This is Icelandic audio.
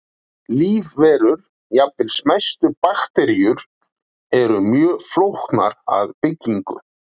Lífverur, jafnvel smæstu bakteríur, eru mjög flóknar að byggingu.